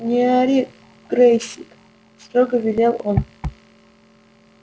не ори грэйсик строго велел он